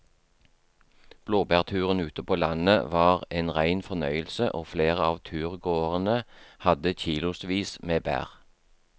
Blåbærturen ute på landet var en rein fornøyelse og flere av turgåerene hadde kilosvis med bær.